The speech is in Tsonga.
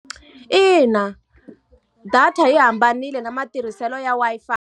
Ina. Data yi hambanile na matirhiselo ya Wi-Fi.